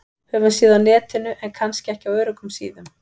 Höfum séð á Netinu- en kannski ekki á öruggum síðum.